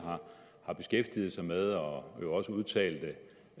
har beskæftiget sig med og hun jo også udtalte